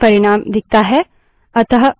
अतः फर्क क्या है